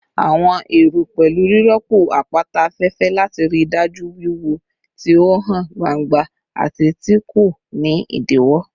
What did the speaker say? Awọn ero pẹlu rirọpo apata afẹfẹ lati rii daju wiwo ti o han gbangba ati ti ko ni idiwọ